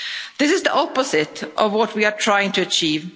This is the opposite of what we are trying to achieve.